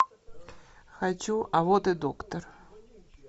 хочу а вот и доктор